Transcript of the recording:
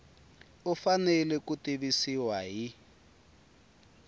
u fanele ku tivisiwa hi